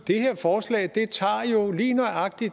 det her forslag tager jo lige nøjagtig